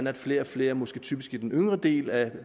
er flere og flere måske typisk i den yngre del af